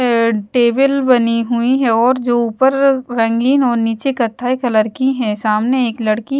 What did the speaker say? table बनी हुई है और जो ऊपर रंगीन और नीचे कथाई कलर की है सामने एक लड़की--